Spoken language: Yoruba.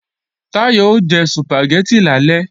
Táyọ̀ o jẹ Sùpàgẹ́tì lálẹ́